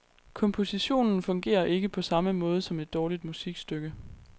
Kompositionen fungerer ikke, på samme måde som et dårligt musikstykke.